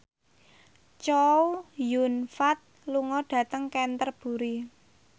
Chow Yun Fat lunga dhateng Canterbury